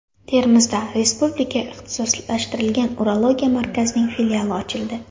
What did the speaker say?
Termizda Respublika ixtisoslashtirilgan urologiya markazining filiali ochildi.